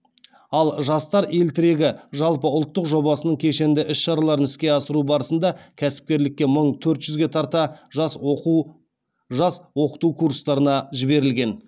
ал жастар ел тірегі жалпы ұлттық жобасының кешенді іс шараларын іске асыру барысында кәсіпкерлікке мың төрт жүзге тарта жас оқыту курстарына жіберілген